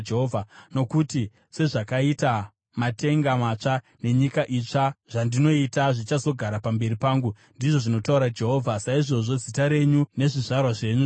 “Nokuti sezvakaita matenga matsva nenyika itsva zvandinoita zvichazogara pamberi pangu,” ndizvo zvinotaura Jehovha, “saizvozvo zita renyu nezvizvarwa zvenyu zvichagara.